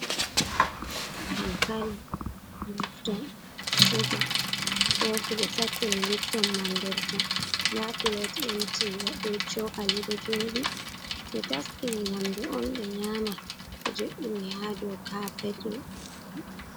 Dankani, lifton, shuga, kofi ɓe sakkini lifton man nder ton nda plat emty be chokali ɗo jodi. Ɓe taskini nyamdu on ha ɓe nyama ɓe jo'ini ha dau kapet.